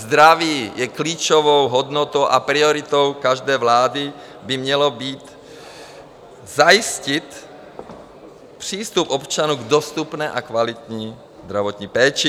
Zdraví je klíčovou hodnotou a prioritou každé vlády by mělo být zajistit přístup občanů k dostupné a kvalitní zdravotní péči.